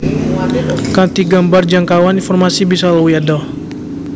Kanthi gambar jangkauan informasi bisa luwih adoh